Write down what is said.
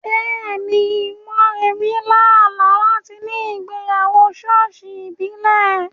Bẹ́ẹ̀ni, Moremi lá àlá láti ní ìgbéyàwó ṣọ́ọ̀ṣì ìbílẹ̀.